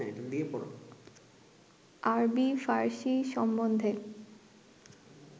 আরবী-ফার্সী সম্বন্ধে